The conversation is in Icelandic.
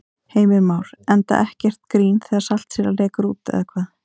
Heimir Már: Enda ekkert grín þegar saltsýra lekur út eða hvað?